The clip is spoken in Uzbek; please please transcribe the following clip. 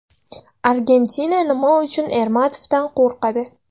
Argentina nima uchun Ermatovdan qo‘rqadi?